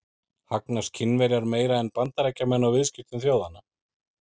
Hagnast Kínverjar meira en Bandaríkjamenn á viðskiptum þjóðanna?